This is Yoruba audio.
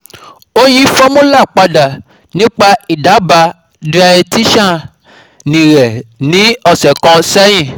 ó yí fọ́múlà padà nípa ìdábàá dietician rẹ̀ ní ọ̀sẹ̀ kan sẹ́yìn.